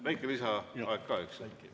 Väike lisaaeg ka, eks ju?